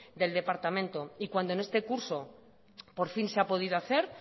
del departamento y cuando en este curso al fin se ha podido hacer